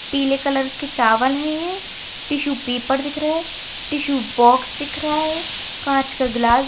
पीले कलर के चावल है टिशू पेपर दिख रहे हैं टिशु बॉक्स दिख रहा है कांच का गिलास--